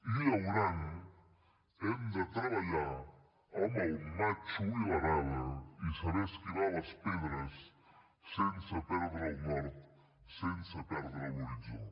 i llaurant hem de treballar amb el matxo i l’arada i saber esquivar les pedres sense perdre el nord sense perdre l’horitzó